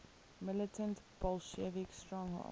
militant bolshevik stronghold